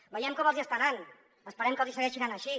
veiem com els hi està anant esperem que els hi segueixi anant així